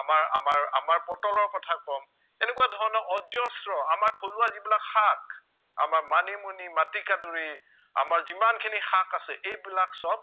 আমাৰ আমাৰ আমাৰ পটলৰ কথা কম এনেকুৱা ধৰণৰ অজস্ৰ আমাৰ থলুৱা যিবিলাক শাক আমাৰ মানিমুনি মাটিকাদুৰি আমাৰ যিমানখিনি শাক আছে এইবিলাক সৱ